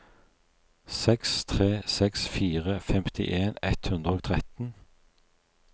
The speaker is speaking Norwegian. seks tre seks fire femtien ett hundre og tretten